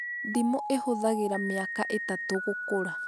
Ndimũ ĩhũthagĩra miaka ĩtatũ gũkũra